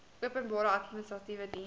openbare administratiewe diens